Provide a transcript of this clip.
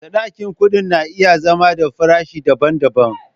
Sadaki kuɗi na iya zama da farashi daban-daban.